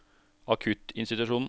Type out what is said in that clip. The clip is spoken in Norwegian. akuttinstitusjonen